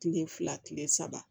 Kile fila kile saba